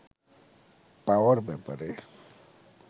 পাওয়ার ব্যাপারে